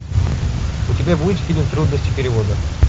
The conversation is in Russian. у тебя будет фильм трудности перевода